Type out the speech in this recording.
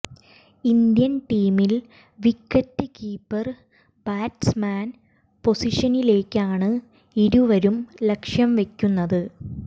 Indian ടീമിൽ wicket keeper batsman പൊസിഷനിലേയ്ക്കാണ് ഇരുവരും ലക്ഷ്യം വയ്ക്കുന്നത്